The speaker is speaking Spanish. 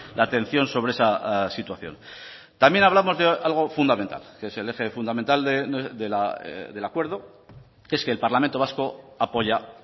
la atención sobre esa situación también hablamos de algo fundamental que es el eje fundamental del acuerdo que es que el parlamento vasco apoya